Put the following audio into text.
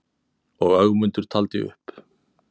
Og Ögmundur taldi upp: